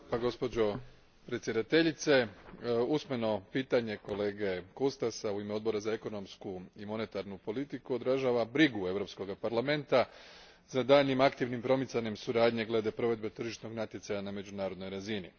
Gospođo predsjednice, usmeno pitanje kolege Cutaşa, u ime Odbora za ekonomsku i monetarnu politiku, odražava brigu Europskog parlamenta za daljnjim aktivnim promicanjem suradnje glede provedbe tržišnog natjecanja na međunarodnoj razini.